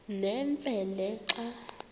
nemfe le xa